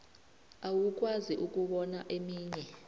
awukwazi ukubona eminye